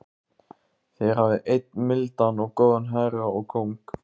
Þér hafið einn mildan og góðan herra og kóng.